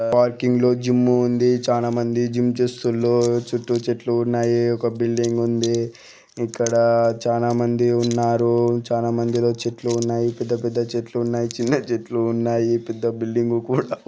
పార్కింగ్లో gym ఉంది. చాలా మంది జిమ్ చేస్తున్నారు. చుట్టూ చెట్లు ఉన్నాయి. ఒక బిల్డింగ్ ఉంది. ఇక్కడ చాలా మంది ఉన్నారు. చాలామందిలో చెట్లు ఉన్నాయి. పెద్ద పెద్ద చెట్లు ఉన్నాయి.చిన్న చెట్లు ఉన్నాయి. పెద్ద బిల్డింగ్ కూడా ఉం--